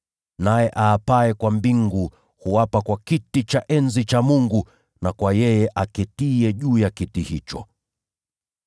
Naye aapaye kwa mbingu, huapa kwa kiti cha enzi cha Mungu na kwa yeye aketiye juu ya kiti hicho.